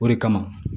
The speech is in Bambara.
O de kama